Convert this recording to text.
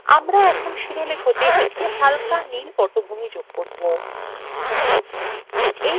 আমরা এখন শিরোলেখএ একটি হালকা নীল পটভূমি যোগ করব